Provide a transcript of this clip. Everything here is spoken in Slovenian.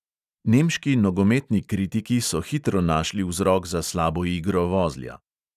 Nemški nogometni kritiki so hitro našli vzrok za slabo igro vozlja.